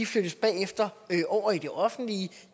flyttes bagefter over i det offentlige